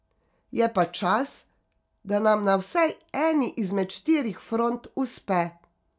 Je pa čas, da nam na vsaj eni izmed štirih front uspe.